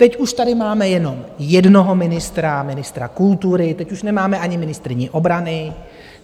Teď už tady máme jenom jednoho ministra, ministra kultury, teď už nemáme ani ministryni obrany.